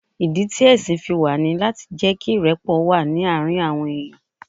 Ìdí ti ẹ̀sìn fi wà ní láti jẹ́ kí ìrẹ́pọ̀ wà ní àárín àwọn èèyàn.